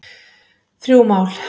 Þrjú mál